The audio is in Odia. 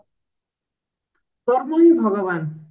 କର୍ମ ହିଁ ଭଗବାନ